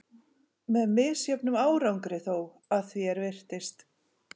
Með misjöfnum árangri þó, að því er virtist.